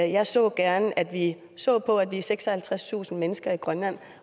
jeg så gerne at vi så på at vi er seksoghalvtredstusind mennesker i grønland